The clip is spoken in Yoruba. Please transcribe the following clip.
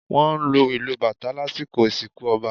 Wọ́n lu ìlù Batá lasikọ ìsinkú ọba